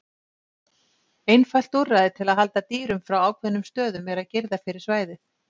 Einfalt úrræði til að halda dýrum frá ákveðnum stöðum er að girða fyrir svæðið.